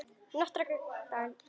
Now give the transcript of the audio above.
Nokkrir dagar líða.